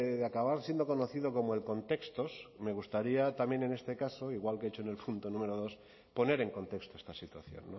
de acabar siendo conocido como el contextos me gustaría también en este caso igual que he hecho en el punto número dos poner en contexto esta situación